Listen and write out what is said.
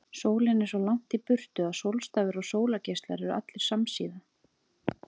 Sólin er svo langt í burtu að sólstafir og sólargeislar eru allir samsíða.